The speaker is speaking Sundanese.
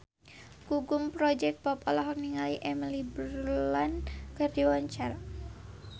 Gugum Project Pop olohok ningali Emily Blunt keur diwawancara